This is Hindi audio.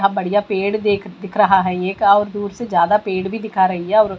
इतना बढ़िया पेड़ देख दिख रहा है एक और दूर से ज़्यादा पेड़ दिखा रही है और--